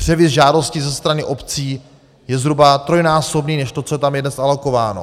Převis žádostí ze strany obcí je zhruba trojnásobný než to, co je tam dnes alokováno.